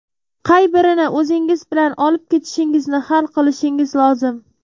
Qay birini o‘zingiz bilan olib ketishingizni hal qilishingiz lozim.